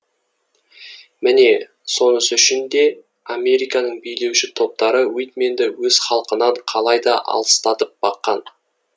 міне сонысы үшін де американың билеуші топтары уитменді өз халқынан қалайда алыстатып баққан